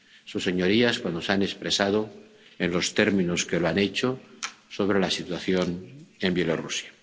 con sus señorías cuando se han expresado, en los términos en que lo han hecho, sobre la situación en Bielorrusia.